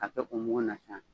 K'a kɛ o mugu in san.